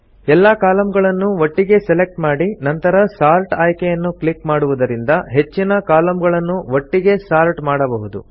ಎಲ್ಲಾ ಕಾಲಂ ಗಳನ್ನು ಒಟ್ಟಿಗೆ ಸೆಲೆಕ್ಟ್ ಮಾಡಿ ನಂತರ ಸಾರ್ಟ್ ಆಯ್ಕೆಯನ್ನು ಕ್ಲಿಕ್ ಮಾಡುವುದರಿಂದ ಹೆಚ್ಚಿನ ಕಾಲಂ ಗಳನ್ನು ಒಟ್ಟಿಗೆ ಸಾರ್ಟ್ ಮಾಡಬಹುದು